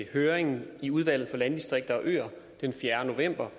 høring i udvalget for landdistrikter og øer den fjerde november